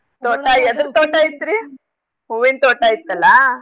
ತೋಟಾ ಎದರ್ ತೋಟ ಇತ್ರಿ? ಹೂವೀನ್ ತೋಟ ಇತ್ತಲ್ಲಾ?